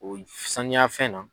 sanuya fɛn na.